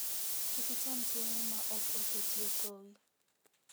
Kik icham chiemo ma ok oketie thowi.